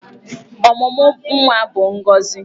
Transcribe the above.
Ọmụmụ nwa bụ ngọzị.